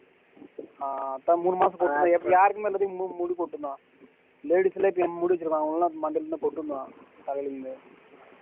அஹ் இப்ப மூனு மாசம் போச்சுல்ல யாருக்குமே வந்து முடி கொட்டும் தான் side எல்லாம் இப்போ முடி வச்சிருக்காங்க அவங்களுக்கு எல்லாம் மண்டையில என்ன கொட்டும் தான் தலையில இருந்து